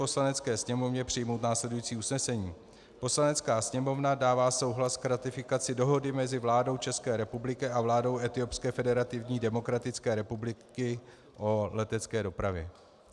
Poslanecké sněmovně přijmout následující usnesení: "Poslanecká sněmovna dává souhlas k ratifikaci dohody mezi vládou České republiky a vládou Etiopské federativní demokratické republiky o letecké dopravě."